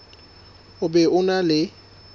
o be o na le